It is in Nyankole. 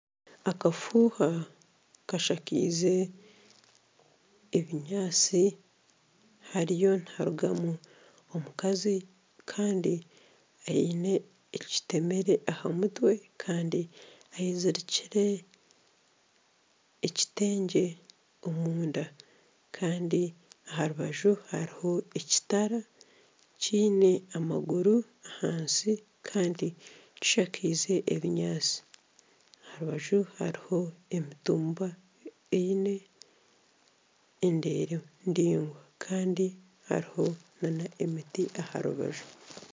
Akafuuha kashakaize ebinyatsi hariyo niharugwamu omukazi kandi aine ekitemere aha mutwe Kandi ayezirikire ekitengye omunda kandi aha rubaju hariho ekitara kiine amaguru ahansi kandi kishakaize ebinyantsi Kandi aha rubaju hariho emitumba eine endeere ndaingwa kandi hariho nana emiti aha rubaju